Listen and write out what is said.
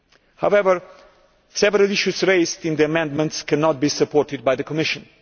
However, several issues raised in the amendments cannot be supported by the Commission.